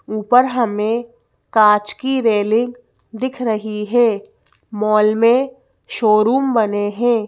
ऊपर हमें कांच की रेलिंग दिख रही है मॉल में शोरूम बने हैं।